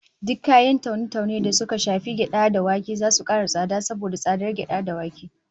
Duk kayan taune-taune da suka shafi gyada da wake zasu kara tsada saboda tsadar gyada da wake